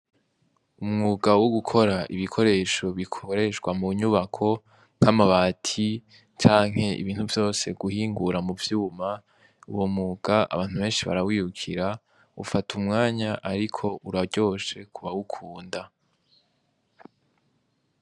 Umwuga wo gukora ibikoresho bikoreshwa mu nyubako, nk'amabati canke ibintu vyose guhingura mu vyuma, uwo mwuga abantu benshi barawirukira, ufata umwanya ariko uraryoshe kubawukunda.